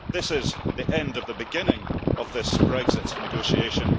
This is the end of the beginning of this Brexit negotiation.